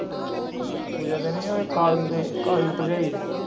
ਪੂਜਾ ਦੇ ਨਹੀਂ ਉਹ ਕਾਲੀ ਦੇ। ਕਾਲੀ ਦੀ ਭਰਜਾਈ ਦੇ।